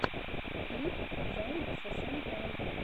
клип займикса сэнпай